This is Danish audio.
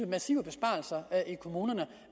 massive besparelser i kommunerne